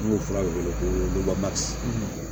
N'u fura de wele ko